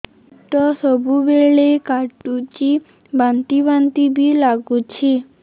ପେଟ ସବୁବେଳେ କାଟୁଚି ବାନ୍ତି ବାନ୍ତି ବି ଲାଗୁଛି